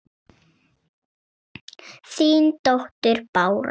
Þín dóttir Bára.